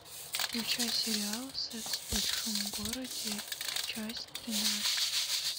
включай сериал секс в большом городе часть тринадцать